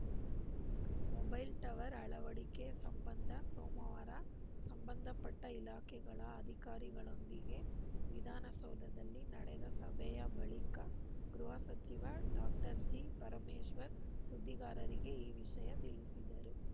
mobile tower ಅಳವಡಿಕೆ ಸಂಬಂಧ ಸೋಮವಾರ ಸಂಬಂಧ ಪಟ್ಟಇಲಾಖೆಗಳ ಅಧಿಕಾರಿಗಳೊಂದಿಗೆ ವಿಧಾನಸೌಧದಲ್ಲಿ ನಡೆದ ಸಭೆಯ ಬಳಿಕ ಗೃಹ ಸಚಿವ ಡಾಕ್ಟರ್ ಜಿ ಪರಮೇಶ್ವರ್‌ ಸುದ್ದಿಗಾರರಿಗೆ ಈ ವಿಷಯ ತಿಳಿಸಿದರು